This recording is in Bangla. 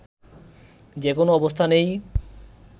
যেকোনো অবস্থানেই